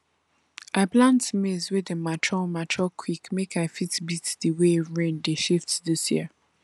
i plant maize wey dey mature mature quick make i fit beat the way rain dey shift this year